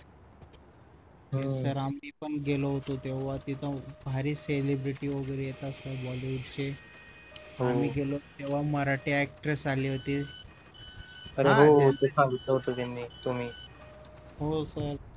हम्म sir आम्ही पण गेलो होतो तेव्हा तिथं भारी celebrity वगैरे येतात त्या bollywood चे हो आम्ही गेलो होतो तेव्हा मराठी actress आले होते तर हो ते सांगितलं होतं त्यांनी तुम्ही हो sir